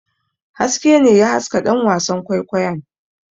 Haske ne ya haska ɗan wasan kwaikwayon.